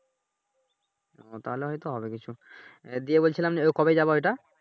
তাহলে হয়তো হবে কিছু, বলছিলাম কবে যাবা ঐটা